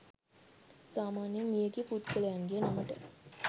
සාමාන්‍යයෙන් මිය ගිය පුද්ගලයන්ගේ නමට